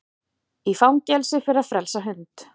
Í fangelsi fyrir að frelsa hund